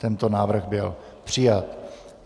Tento návrh byl přijat.